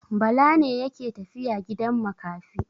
Bala ne yake tafiya gidan makafi.